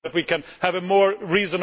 Thank you for your comments.